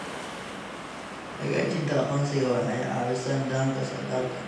Xaqiijinta aqoonsiga waxay caawisaa nidaamka socdaalka.